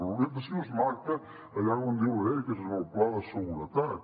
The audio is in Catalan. l’orientació es marca allà on diu la llei que és en el pla de seguretat